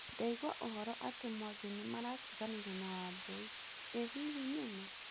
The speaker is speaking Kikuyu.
Ndaigua ũhoro atĩ Mwangi nĩ maratiganire na Wambũi. Ĩ hihi nĩ maa?